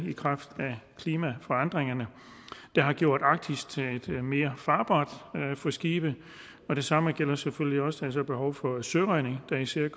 i kraft af klimaforandringerne der har gjort arktis mere farbart for skibe og det samme gælder selvfølgelig også behovet for søredning der især